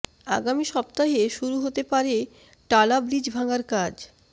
আগামী সপ্তাহে শুরু হতে পারে টালা ব্রিজ ভাঙার কাজ